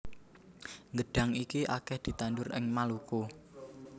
Gedhang iki akeh ditandur ing Maluku